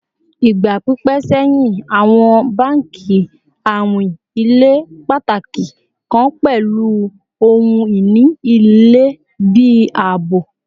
Igba pipẹ sẹhin awọn banki awin ile pataki kan pẹlu ohun-ini ilẹ bi aabo